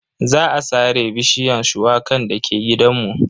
Za a sare bishiyar shuwakan dake gidanmu.